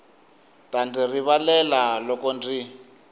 ta ndzi rivalela loko ndzi